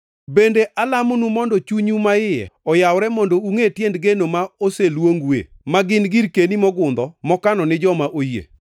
Bende alamonu mondo chunyu maiye oyawre mondo ungʼe tiend geno ma oseluongoue, ma gin girkeni mogundho mokano ni joma oyie,